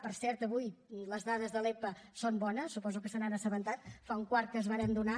per cert avui les dades de l’epa són bones suposo que se n’han assabentat fa un quart que s’han donat